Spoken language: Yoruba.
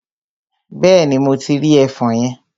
Bẹ́ẹ̀ni, mo ti rí ẹfọn yẹn.